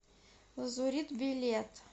лазурит билет